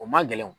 O man gɛlɛn